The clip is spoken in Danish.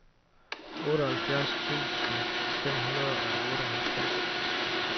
otteoghalvfjerds tusind fem hundrede og otteoghalvtreds